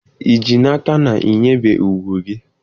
Ị ji n'aka na i nwebeghị ùgwù gị?